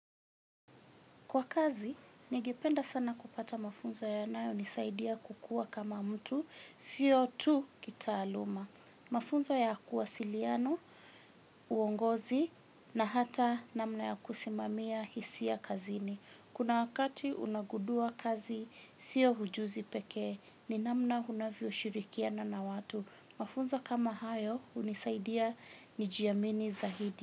Kwa kazi, ningependa sana kupata mafunzo yanayonisaidia kukua kama mtu, sio tu kitaaluma. Mafunzo ya kuwasiliana, uongozi, na hata namna ya kusimamia hisia kazini. Kuna wakati unagundua kazi, sio ujuzi pekee, ni namna unavyoshirikiana na watu. Mafunzo kama hayo, hunisaidia nijiamini zaidi.